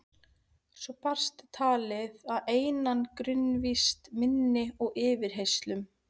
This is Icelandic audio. Svo barst talið að einangrunarvist minni og yfirheyrslum.